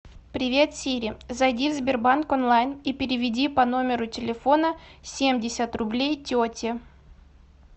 привет сири зайди в сбербанк онлайн и переведи по номеру телефона семьдесят рублей тете